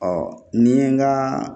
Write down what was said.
Ɔ ni ye n ka